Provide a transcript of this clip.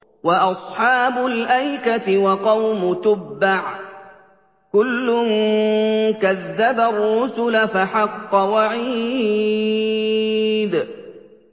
وَأَصْحَابُ الْأَيْكَةِ وَقَوْمُ تُبَّعٍ ۚ كُلٌّ كَذَّبَ الرُّسُلَ فَحَقَّ وَعِيدِ